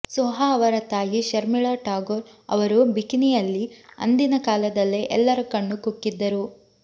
ಸೋಹಾ ಅವರ ತಾಯಿ ಶರ್ಮಿಳಾ ಠಾಗೋರ್ ಅವರು ಬಿಕಿನಿಯಲ್ಲಿ ಅಂದಿನ ಕಾಲದಲ್ಲೇ ಎಲ್ಲರ ಕಣ್ಣುಕುಕ್ಕಿದ್ದರು